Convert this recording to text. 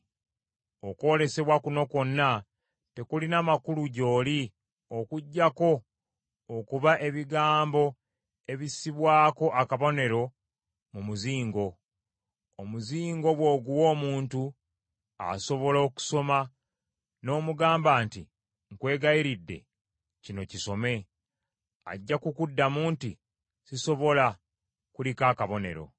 Okwolesebwa kuno kwonna tekulina makulu gy’oli okuggyako okuba ebigambo ebissibwako akabonero mu muzingo. Omuzingo bw’oguwa omuntu, asobola okusoma n’omugamba nti, “Nkwegayiridde kino kisome,” ajja kukuddamu nti, “Sisobola, kuliko akabonero.”